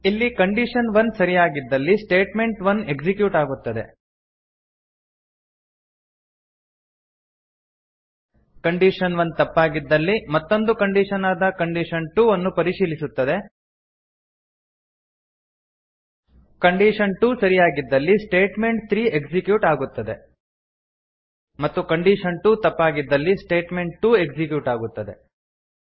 ಇಲ್ಲಿ condition one ಸರಿಯಾಗಿದ್ದಲ್ಲಿ statement one execute ಆಗುತ್ತದೆ ಕಂಡೀಷನ್1 ತಪ್ಪಾಗಿದ್ದಲ್ಲಿ ಮತ್ತೊಂದು ಕಂಡೀಶನ್ ಆದ ಕಂಡೀಷನ್2 ಅನ್ನು ಪರಿಶೀಲಿಸುತ್ತದೆ ಕಂಡೀಷನ್2 ಸರಿಯಾಗಿದ್ದಲ್ಲಿ statement3ಎಕ್ಸಿಕ್ಯೂಟ್ ಆಗುತ್ತದೆ ಮತ್ತು ಕಂಡೀಷನ್2 ತಪ್ಪಾಗಿದ್ದಲ್ಲಿ statement2ಎಕ್ಸಿಕ್ಯೂಟ್ ಆಗುತ್ತದೆ